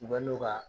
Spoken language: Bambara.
U bɛ n'o ka